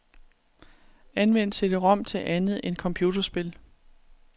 Anvend cd-rom til andet end computerspil.